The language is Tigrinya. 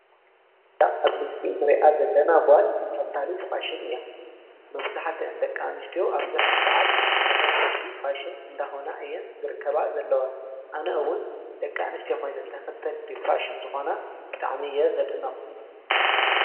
ዳ ኣብ ምስሊን ርኣ ዘለና ጓል ተኸታሊት ፋሽን እያ። መፍዙኃተ እንደቃ ንሽዶው ኣብዙኅ ዝሰዓት ተኸተልቲ ፋሽን እንደኾና እየን ዝርከባ ዘለዋ ኣነእውን ደቃ ንስቲኾይንን ተኸተልቲ ፋሽን ዝኾና ብጣዕሚ እየ ዘድነቕ።